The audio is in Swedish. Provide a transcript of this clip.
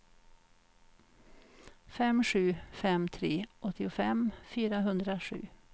fem sju fem tre åttiofem fyrahundrasju